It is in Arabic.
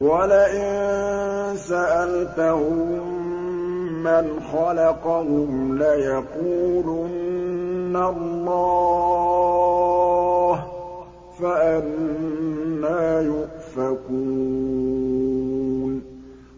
وَلَئِن سَأَلْتَهُم مَّنْ خَلَقَهُمْ لَيَقُولُنَّ اللَّهُ ۖ فَأَنَّىٰ يُؤْفَكُونَ